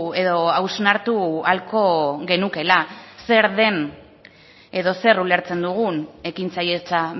edo hausnartu ahalko genukeela zer den edo zer ulertzen dugun ekintzailetza